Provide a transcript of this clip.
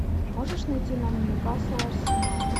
можешь найти нам ньюкасл арсенал